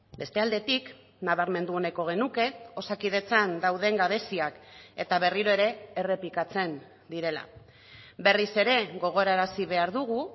beste aldetik nabarmendu nahiko genuke osakidetzan dauden gabeziak eta berriro ere errepikatzen direla berriz ere gogorarazi behar dugu